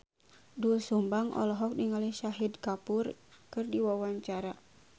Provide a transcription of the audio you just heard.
Doel Sumbang olohok ningali Shahid Kapoor keur diwawancara